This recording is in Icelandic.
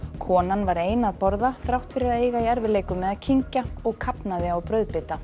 konan var ein að borða þrátt fyrir að eiga í erfiðleikum með að kyngja og kafnaði á brauðbita